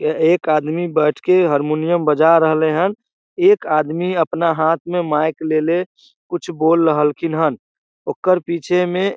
यह एक आदमी बैठ के हरमुनियम बजा रहले हन एक आदमी अपना हाथ में माइक लेले कुछ बोल रहलखिन हन ओकर पीछे में --